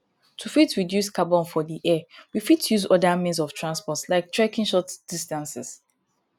to fit reduce carbon for the air we fit use oda means of transport like trekking short distances